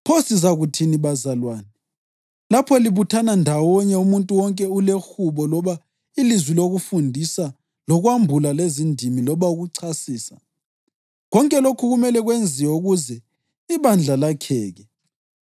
Pho sizakuthini, bazalwane? Lapho libuthana ndawonye, umuntu wonke ulehubo loba ilizwi lokufundisa, lokwambula, lezindimi, loba ukuchasisa. Konke lokhu kumele kwenziwe ukuze ibandla lakheke.